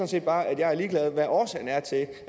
set bare at jeg er ligeglad med hvad årsagen er til at